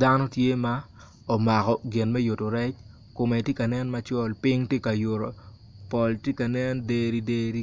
Dano tye ma omako gin me yuto rec kume tye ka nen macol pol tye ka nen ma derideri